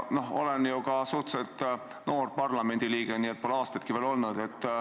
Ma olen suhteliselt noor parlamendiliige, pole aastatki siin olnud.